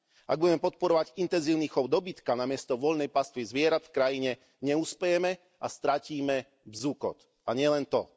Ak budeme podporovať intenzívny chov dobytka namiesto voľnej pastvy zvierat v krajine, neuspejeme a stratíme bzukot, a nielen to.